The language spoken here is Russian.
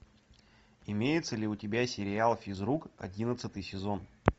имеется ли у тебя сериал физрук одиннадцатый сезон